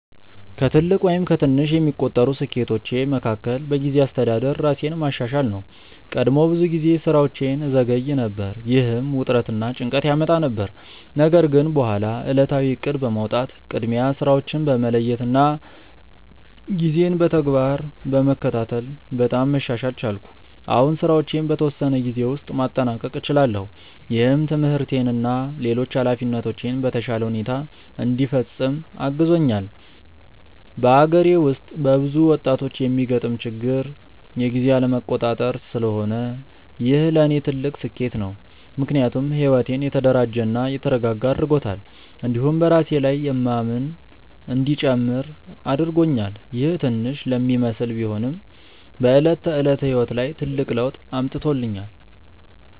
ከትልቅ ወይም ከትንሽ የሚቆጠሩ ስኬቶቼ መካከል በጊዜ አስተዳደር ራሴን ማሻሻል ነው። ቀድሞ ብዙ ጊዜ ስራዎቼን እዘገይ ነበር፣ ይህም ውጥረት እና ጭንቀት ያመጣ ነበር። ነገር ግን በኋላ ዕለታዊ እቅድ በማውጣት፣ ቅድሚያ ስራዎችን በመለየት እና ጊዜን በተግባር በመከታተል በጣም መሻሻል ቻልኩ። አሁን ስራዎቼን በተወሰነ ጊዜ ውስጥ ማጠናቀቅ እችላለሁ፣ ይህም ትምህርቴን እና ሌሎች ኃላፊነቶቼን በተሻለ ሁኔታ እንዲፈጽም አግዞኛል። በአገሬ ውስጥ በብዙ ወጣቶች የሚገጥም ችግር የጊዜ አለመቆጣጠር ስለሆነ ይህ ለእኔ ትልቅ ስኬት ነው። ምክንያቱም ሕይወቴን የተደራጀ እና የተረጋጋ አድርጎታል፣ እንዲሁም በራሴ ላይ የማምን እንዲጨምር አድርጎኛል። ይህ ትንሽ ለሚመስል ቢሆንም በዕለት ተዕለት ሕይወት ላይ ትልቅ ለውጥ አምጥቶኛል።